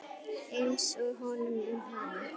Einsog honum um hana.